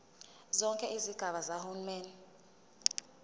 zonke izigaba zikahulumeni